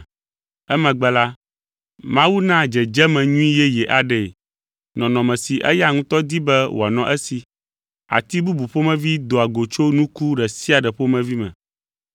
Emegbe la, Mawu naa dzedzeme nyui yeye aɖee; nɔnɔme si eya ŋutɔ di be wòanɔ esi. Ati bubu ƒomevi doa go tso nuku ɖe sia ɖe ƒomevi me.